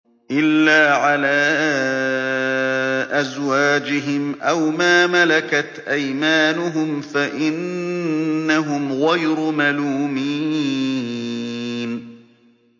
إِلَّا عَلَىٰ أَزْوَاجِهِمْ أَوْ مَا مَلَكَتْ أَيْمَانُهُمْ فَإِنَّهُمْ غَيْرُ مَلُومِينَ